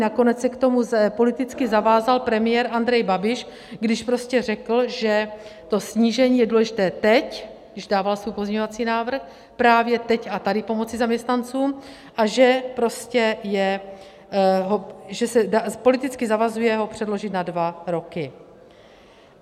Nakonec se k tomu politicky zavázal premiér Andrej Babiš, když prostě řekl, že to snížení je důležité teď, když dával svůj pozměňovací návrh, právě teď a tady pomoci zaměstnancům a že se politicky zavazuje ho předložit na dva roky.